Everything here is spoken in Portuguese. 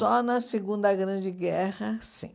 Só na Segunda Grande Guerra, sim.